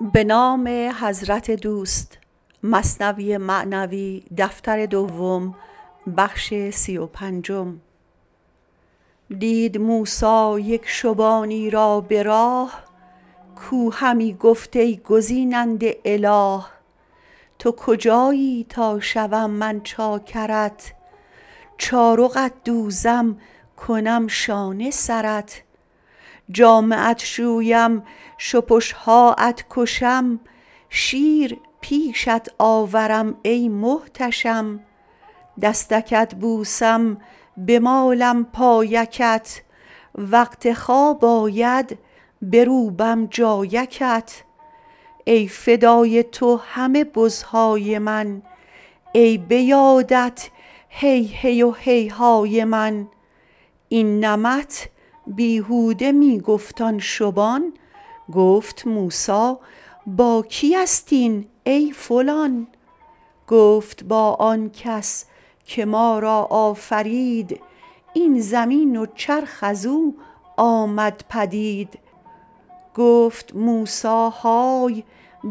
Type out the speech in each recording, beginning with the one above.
دید موسی یک شبانی را به راه کو همی گفت ای گزیننده اله تو کجایی تا شوم من چاکرت چارقت دوزم کنم شانه سرت جامه ات شویم شپشهاات کشم شیر پیشت آورم ای محتشم دستکت بوسم بمالم پایکت وقت خواب آید بروبم جایکت ای فدای تو همه بزهای من ای بیادت هیهی و هیهای من این نمط بیهوده می گفت آن شبان گفت موسی با کی است این ای فلان گفت با آنکس که ما را آفرید این زمین و چرخ ازو آمد پدید گفت موسی های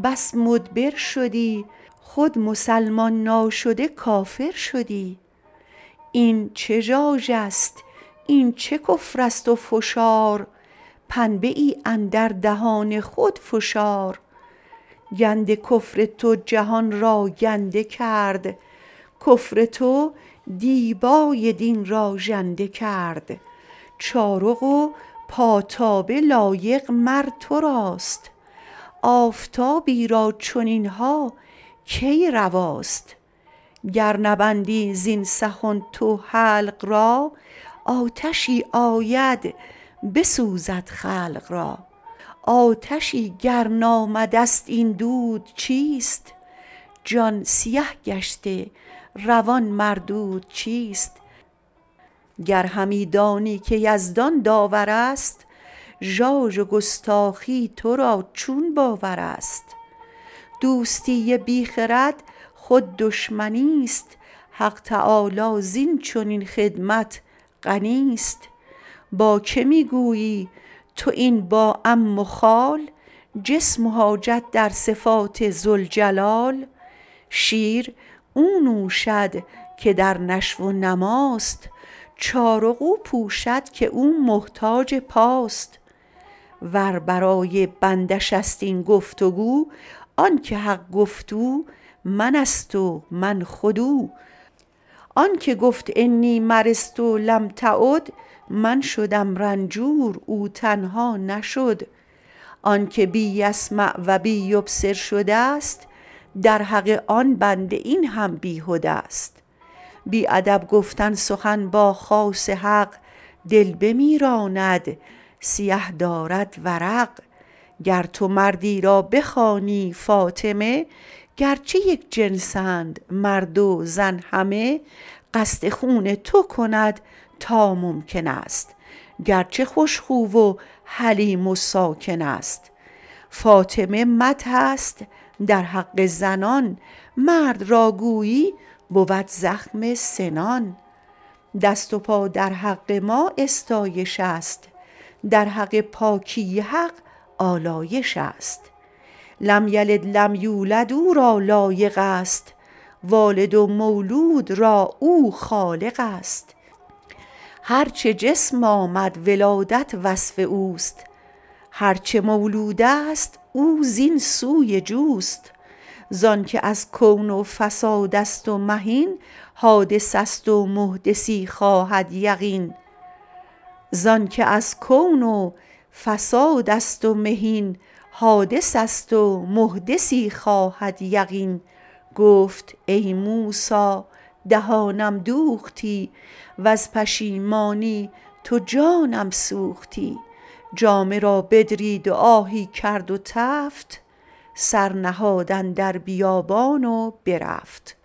بس مدبر شدی خود مسلمان ناشده کافر شدی این چه ژاژست این چه کفرست و فشار پنبه ای اندر دهان خود فشار گند کفر تو جهان را گنده کرد کفر تو دیبای دین را ژنده کرد چارق و پاتابه لایق مر تراست آفتابی را چنینها کی رواست گر نبندی زین سخن تو حلق را آتشی آید بسوزد خلق را آتشی گر نامدست این دود چیست جان سیه گشته روان مردود چیست گر همی دانی که یزدان داورست ژاژ و گستاخی ترا چون باورست دوستی بی خرد خود دشمنیست حق تعالی زین چنین خدمت غنیست با کی می گویی تو این با عم و خال جسم و حاجت در صفات ذوالجلال شیر او نوشد که در نشو و نماست چارق او پوشد که او محتاج پاست ور برای بنده شست این گفت تو آنک حق گفت او منست و من خود او آنک گفت انی مرضت لم تعد من شدم رنجور او تنها نشد آنک بی یسمع و بی یبصر شده ست در حق آن بنده این هم بیهده ست بی ادب گفتن سخن با خاص حق دل بمیراند سیه دارد ورق گر تو مردی را بخوانی فاطمه گرچه یک جنس اند مرد و زن همه قصد خون تو کند تا ممکنست گرچه خوش خو و حلیم و ساکنست فاطمه مدحست در حق زنان مرد را گویی بود زخم سنان دست و پا در حق ما استایش است در حق پاکی حق آلایش است لم یلد لم یولد او را لایق است والد و مولود را او خالق است هرچه جسم آمد ولادت وصف اوست هرچه مولودست او زین سوی جوست زانک از کون و فساد است و مهین حادثست و محدثی خواهد یقین گفت ای موسی دهانم دوختی وز پشیمانی تو جانم سوختی جامه را بدرید و آهی کرد تفت سر نهاد اندر بیابانی و رفت